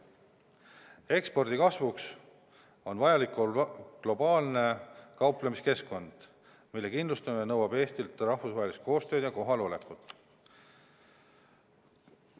Ekspordi kasvuks on vajalik globaalne kauplemiskeskkond, mille kindlustamine nõuab Eestilt rahvusvahelist koostööd ja kohalolekut.